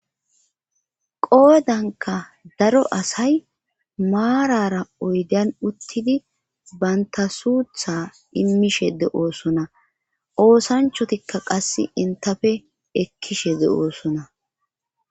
Qoodanka daro asay maarara oydan uttidi bantasuutha immishe de7oosona oosanchotikka qasse intafe ekkishe de'oosona.